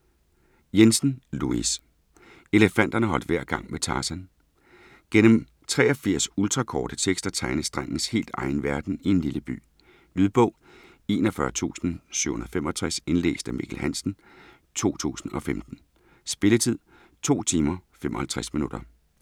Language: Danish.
Jensen, Louis: Elefanterne holdt hver gang med Tarzan Gennem 83 ultrakorte tekster tegnes drengens helt egen verden i en lille by. Lydbog 41765 Indlæst af Mikkel Hansen, 2015. Spilletid: 2 timer, 55 minutter.